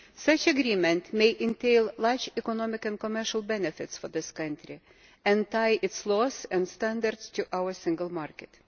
Such an agreement may entail large economic and commercial benefits for this country and tie its laws and standards to our single market.